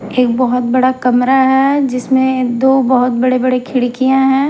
एक बहुत बड़ा कमरा है जिसमें दो बहुत बड़े-बड़े खिड़कियाँ हैं।